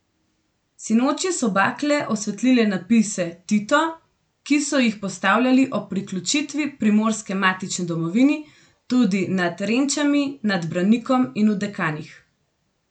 Sinoči so bakle osvetlile napise Tito, ki so jih postavljali ob priključitvi Primorske matični domovini, tudi nad Renčami, nad Branikom in v Dekanih.